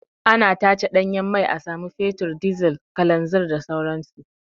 Ana tace ɗanyen mai a samu fetur, dizal, kalanzin da sauran su.